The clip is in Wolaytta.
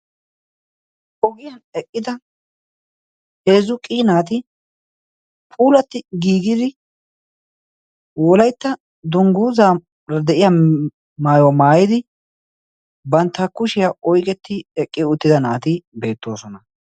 Ogiyaan eqqida heezzu qii naati puulati giigidi wolaytta dungguzara de'iyaara maayuwa maayyidi bantta kushiyaa oyqqeti eqqi uttida naati beettoosona.